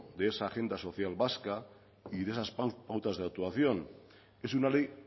de esa agencia social vasca y de esas pautas de actuación es una ley